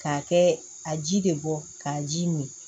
K'a kɛ a ji de bɔ k'a ji min